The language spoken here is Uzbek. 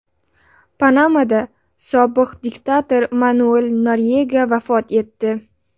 Panamada sobiq diktator Manuel Noryega vafot etdi.